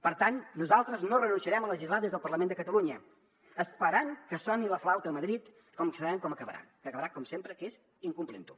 per tant nosaltres no renunciarem a legislar des del parlament de catalunya esperant que soni la flauta a madrid que sabem com acabarà que acabarà com sempre que és incomplint ho